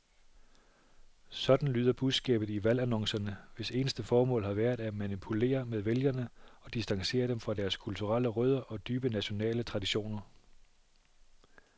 Sådan lyder budskabet i valgannoncerne, hvis eneste formål har været at manipulere med vælgere og distancere dem fra deres kulturelle rødder og dybe nationale traditioner.